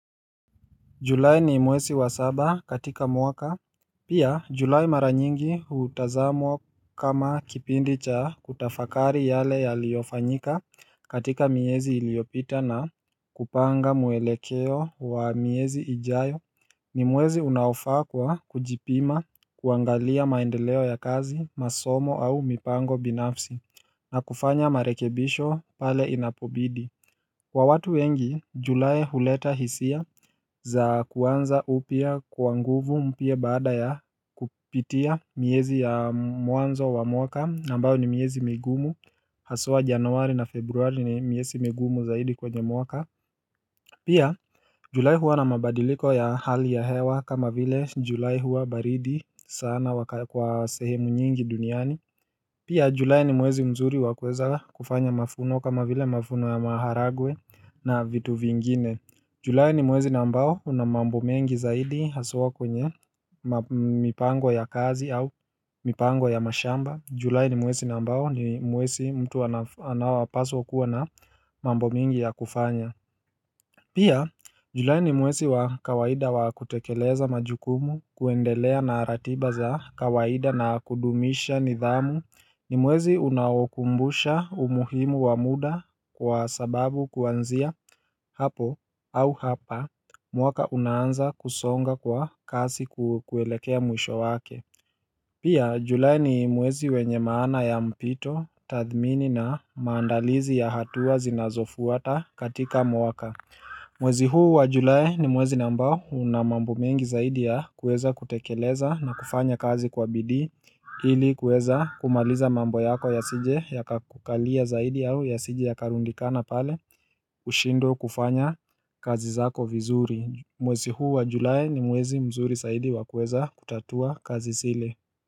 Julai ni mwezi wa saba katika mwaka Pia Julai mara nyingi hutazamwa kama kipindi cha kutafakari yale ya liyofanyika katika miezi iliopita na kupanga mwelekeo wa miezi ijayo ni mwezi unaofaa kwa kujipima kuangalia maendeleo ya kazi masomo au mipango binafsi na kufanya marekebisho pale inapobidi Kwa watu wengi, julai huleta hisia za kuanza upya kwa nguvu mpya baada ya kupitia miezi ya mwanzo wa mwaka na ambayo ni miezi migumu, haswa januari na februari ni miezi migumu zaidi kwenye mwaka Pia, julae huwa na mabadiliko ya hali ya hewa kama vile julae huwa baridi sana kwa sehemu nyingi duniani Pia julae ni mwezi mzuri wakuwza kufanya mafuno kama vile mafuno ya maharagwe na vitu vingine Julae ni mwezi na ambao una mambo mengi zaidi haswa kwenye mipango ya kazi au mipango ya mashamba Julae ni mwezi na ambao ni mwezi mtu anawapaswa kuwa na mambo mengi ya kufanya Pia julae ni mwezi wa kawaida wa kutekeleza majukumu kuendelea na ratiba za kawaida na kudumisha nidhamu ni mwezi unaokumbusha umuhimu wa muda kwa sababu kuanzia hapo au hapa mwaka unaanza kusonga kwa kasi kuelekea mwisho wake Pia julae ni mwezi wenye maana ya mpito, tathmini na maandalizi ya hatua zinazofuata katika mwaka Mwezi huu wa julae ni mwezi na ambao una mambo mengi zaidi ya kueza kutekeleza na kufanya kazi kwa bidii ili kueza kumaliza mambo yako ya sije ya kakukalia zaidi yao ya sije ya karundikana pale ushindwe kufanya kazi zako vizuri Mwezi huu wa julae ni mwezi mzuri zaidi wa kuweza kutatua kazi sile.